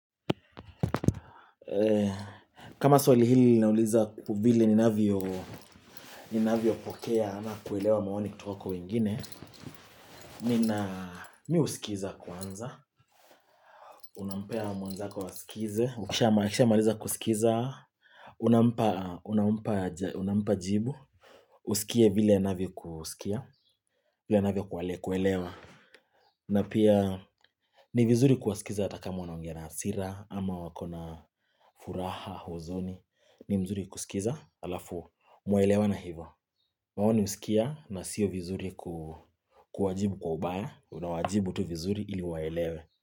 Kama swali hili linauliza vile ninavyo pokea ama kuelewa maoni kutoka kwa wengine Mimi husikiza kwanza Unampea mwenzako asikize akishamaliza kusikiza unampa Unampa jibu Usikie vile anavyokusikia vile anavyo kuelewa na pia ni vizuri kuwasikiza hata kama wanaongea na hasira ama wako na furaha huzuni ni mzuri kusikiza Alafu, muelewane hivyo maoni husikia na sio vizuri ku kuwajibu kwa ubaya Unawajibu tu vizuri ili waelewe.